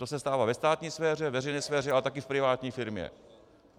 To se stává ve státní sféře, veřejné sféře, ale také v privátní firmě.